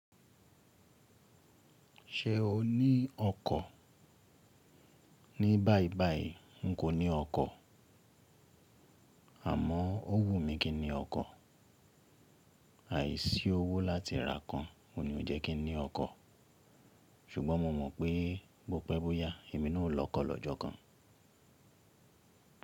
Ṣé o ní ọkọ̀? Ní báyìí báyìí n kò ní ọkọ̀, àmọ́ ó wù mí kí n ní ọkọ̀. Àìsí owó láti ra kan, ò ní ó jẹ́ kí n ní ọkọ̀. Ṣùgbọ́n mo mọ̀ pé bó pẹ́ bó yá, èmi náà ó lọkọ̀ lọ́jọ́ kan.